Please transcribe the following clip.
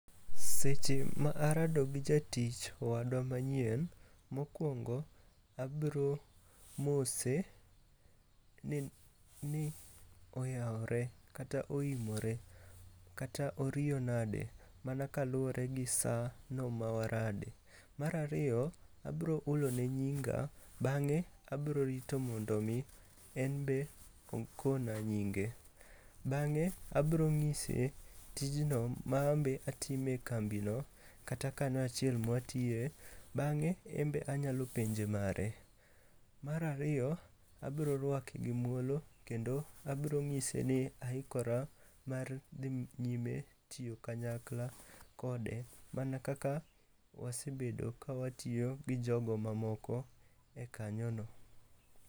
Seche ma arado gi jatich wadwa manyien, mokwongo abro mose ni oyawre kata oimore kata oriyo nade mana kaluwore gi sano ma warade. Mar ariyo abro hulone nyinga bang'e abro rito mondo omi en be okona nyinge. Bang'e abrong'ise tijno ma ambe atimo e kambino kata kano achiel mwatiye, bang'e embe anyalo penje mare. Mar ariyo, abro rwake gi muolo kendo abrong'ise ni aikora mar dhi nyime tiyo kanyakla kode mana kaka wasebedo ka watiyo gi jogo mamoko e kanyono.